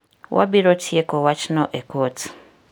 Wabiro tieko wachno e kot.